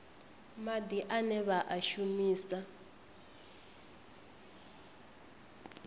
madi ane vha a shumisa